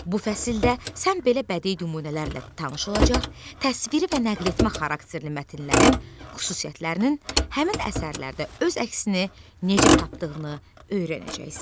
Bu fəsildə sən belə bədii nümunələrlə tanış olacaq, təsviri və nəql etmə xarakterli mətnlərin xüsusiyyətlərinin həmin əsərlərdə öz əksini necə tapdığını öyrənəcəksən.